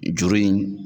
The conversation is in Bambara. Juru in